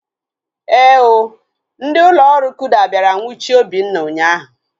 Éè ooo, ndị ụlọ ọrụ kuda bịara nwuchie Obinna ụnyaahụ